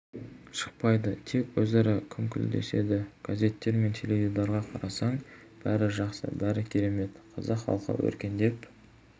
шықпайды тек өзара күңкілдеседі газеттер мен теледидарға қарасаң бәрі жақсы бәрі керемет қазақ халқы өркендеп